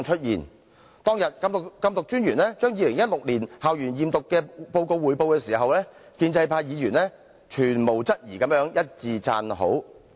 禁毒專員當天匯報2016年校園驗毒報告時，建制派議員毫無質疑一致讚好。